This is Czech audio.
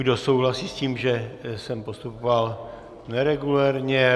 Kdo souhlasí s tím, že jsem postupoval neregulérně?